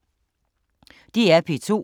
DR P2